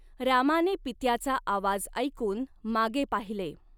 रामाने पित्याचा आवाज ऐकून मागे पाहिले.